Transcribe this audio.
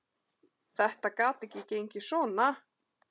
Þetta gat ekki gengið svona.